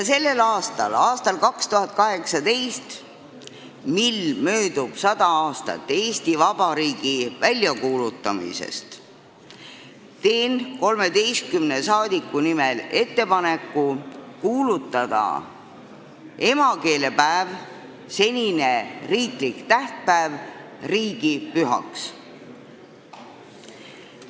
Sellel aastal, 2018. aastal, kui möödub 100 aastat Eesti Vabariigi väljakuulutamisest, teen 13 rahvasaadiku nimel ettepaneku kuulutada emakeelepäev, senine riiklik tähtpäev, riigipühaks.